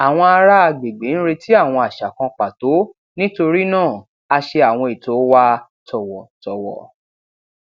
àwọn ará agbègbè ń retí àwọn àṣà kan pàtó nítorí náà a ṣe àwọn ètò wa tọwọtọwọ